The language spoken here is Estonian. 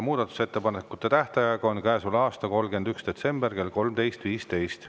Muudatusettepanekute tähtaeg on käesoleva aasta 31. detsember kell 13.15.